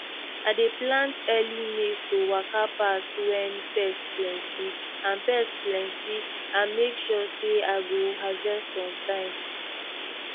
i dey plant early maize to waka pass when pest plenty and pest plenty and make sure say i go harvest on time